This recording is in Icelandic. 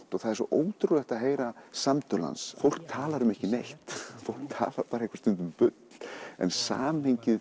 það er svo ótrúlegt að heyra samtöl hans fólk talar um ekki neitt fólk talar stundum bull en samhengið